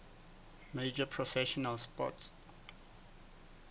major professional sports